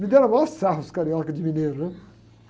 Me deram a maior sarro os carioca de mineiro, né?